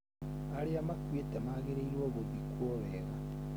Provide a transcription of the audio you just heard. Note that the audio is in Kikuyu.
Arĩa makuĩte magĩrĩirũo gũthikwo wega.